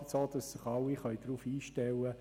So können sich alle darauf einstellen.